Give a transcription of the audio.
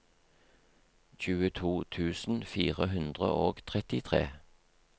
tjueto tusen fire hundre og trettitre